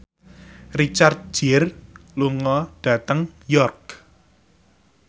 Richard Gere lunga dhateng York